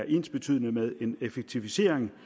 ensbetydende med en effektivisering